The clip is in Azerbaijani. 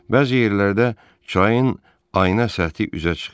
Bəzi yerlərdə çayın ayna səthi üzə çıxır.